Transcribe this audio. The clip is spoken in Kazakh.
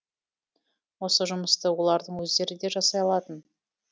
осы жұмысты олардың өздері де жасай алатын